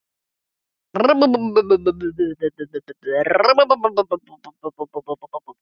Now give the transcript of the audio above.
Ástin mín, ég er nú þegar búinn að skrifa þér.